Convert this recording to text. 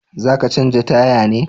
Za ka canja taya ne?